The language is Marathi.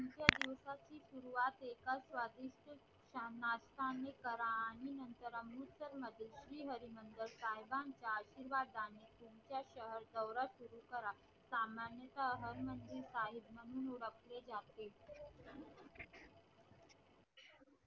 एका स्वादिस्त करा आणि नतर अमृतसार मध्ये श्रीहरी मंदिर साहेबांच्या आशिर्वादाने तुमच्या शहर सुरु करा सामन्य ता श्री हरी मंदिर साहेब म्हणून